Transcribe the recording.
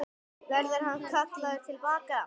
Verður hann kallaður til baka?